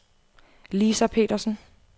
Lisa Petersen